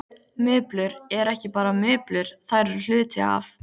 Mublur eru ekki bara mublur, þær eru hluti af.